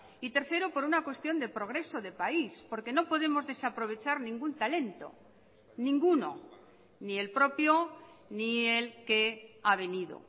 y tercero por una cuestión de progreso de país porque no podemos desaprovechar ningún talento ninguno ni el propio ni el que ha venido